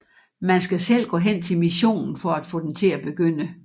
Man skal selv gå hen til missionen for at få den til at begynde